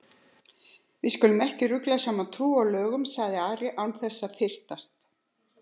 Við skulum ekki rugla saman trú og lögum, sagði Ari án þess að fyrtast.